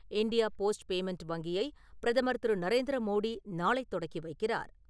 India post payment வங்கியை பிரதமர் திரு. நரேந்திரமோடி நாளை தொடக்கி வைக்கிறார்.